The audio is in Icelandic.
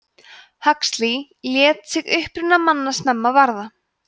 huxley lét sig uppruna manna snemma varða